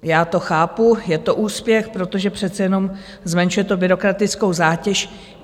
Já to chápu, je to úspěch, protože přece jenom zmenšuje to byrokratickou zátěž.